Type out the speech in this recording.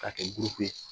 K'a kɛ gupu ye